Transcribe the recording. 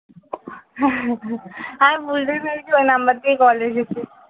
আমি বুঝতে পেরেছি ওই number থেকে call এসেছে